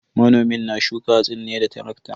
Manomin na shuka hatsin ne da tarakta.